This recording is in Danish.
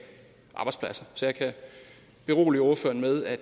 arbejdspladser så jeg kan berolige ordføreren med at